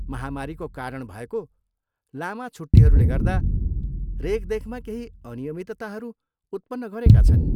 महामारीको कारण भएको लामा छुट्टीहरूले गर्दा रेखदेखमा केही अनियमितताहरू उत्पन्न गरेका छन्।